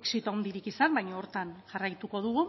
exito handirik izan baina horretan jarraituko dugu